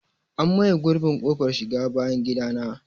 An maye gurbin ƙofar shiga bayan gidana.